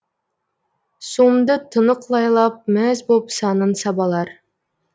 суымды тұнық лайлап мәз боп санын сабалар